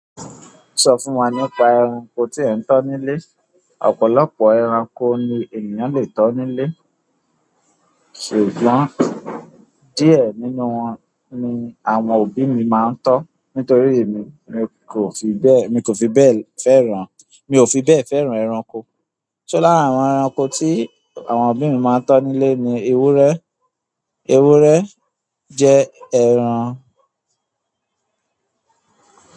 Sọ fún wa nípa ẹranko tí ẹ ń tọ́ nílé. Ọ̀pọ̀lọpọ̀ ẹranko ni ènìyàn le tọ́ nílé, ṣùgbọ́n díẹ̀ nínú wọn ni àwọn òbí mi máa ń tọ́. Nítorí èmi, mi kò fi bẹ́ẹ̀, mi kò fi bẹ́ẹ̀ fẹ́ràn, mi ò fi bẹ́ẹ̀ fẹ́ràn ẹranko. Ṣó lára àwọn ẹranko tí àwọn òbí mi máa ń tọ́ nílé ni ewúrẹ́, ewúrẹ́ jẹ́ ẹran.